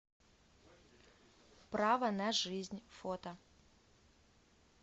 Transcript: право на жизнь фото